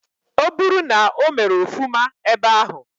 Oburu na omere ofuma ebe ahu.